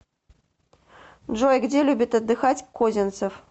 джой где любит отдыхать козинцев